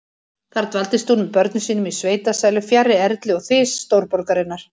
Þar dvaldist hún með börnum sínum í sveitasælu, fjarri erli og þys stórborgarinnar.